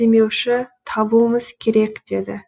демеуші табуымыз керек деді